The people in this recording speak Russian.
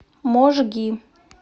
можги